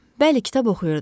Bəli, kitab oxuyurdu.